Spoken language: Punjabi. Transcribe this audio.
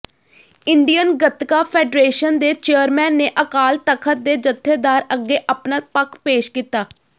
ਇੰਡੀਅਨ ਗਤਕਾ ਫ਼ੈਡਰੇਸ਼ਨ ਦੇ ਚੇਅਰਮੈਨ ਨੇ ਅਕਾਲ ਤਖ਼ਤ ਦੇ ਜਥੇਦਾਰ ਅੱਗੇ ਅਪਣਾ ਪੱਖ ਪੇਸ਼ ਕੀਤਾ